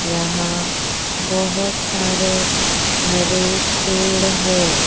यहां बहुत सारे हरे पेड़ है।